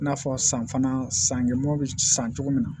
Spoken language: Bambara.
I n'a fɔ san fana sankɛmɔw bɛ san cogo min na